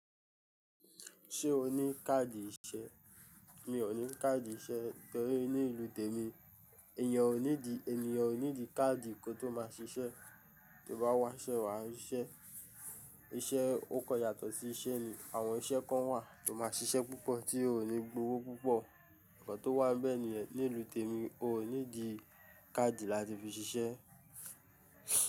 Ṣé o ní káàdì ìṣe? Mi ò ní káàdì ìṣe torí ní ìlú tèmi èèyàn ò needi, ènìyàn ò needi káàdì kó tó máa ṣiṣẹ́. To bá wá ṣẹ́ wà á rí iṣẹ́. Iṣẹ́ o ko yàtọ̀ sí iṣẹ́ ni, àwọn iṣẹ́ kan wà tó máa ṣiṣẹ́ púpọ̀ tí ò ní gbówó púpọ̀. Nkàn tó wà nbẹ̀ níyen, ní ìlú tèmi o ò needi káàdì láti fi ṣiṣẹ́.